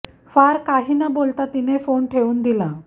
फार काही न बोलता तिने फोन ठेऊन दिला